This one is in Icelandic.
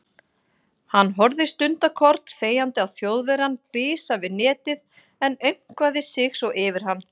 Hann horfði stundarkorn þegjandi á Þjóðverjann bisa við netið en aumkvaði sig svo yfir hann.